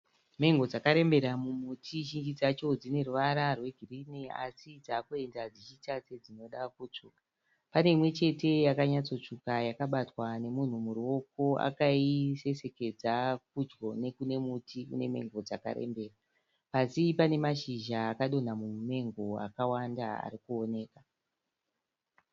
Mengo dzakarembera mumutiZhinji dzacho dzine ruvara rwegirini asi dzakuenda dzichiita sedzinoda kutsvuka. Pane imwe chete yakanyotsotsvuka yakabatwa nemunhu muruoko akaisesekedza pedyo nekune muti une mengo dzakarembera. Pasi pane mashizha akadonha mumumengo akawanda ari kuonekwa.